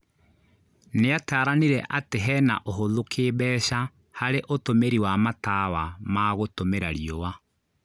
Nĩataranire atĩ hena ũhũthu kĩmbeca harĩ ũtũmĩri wa matawa ma gũtũmĩra riũa